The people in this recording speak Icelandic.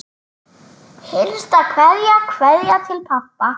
HINSTA KVEÐJA Kveðja til pabba.